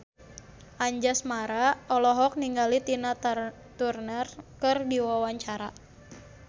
Anjasmara olohok ningali Tina Turner keur diwawancara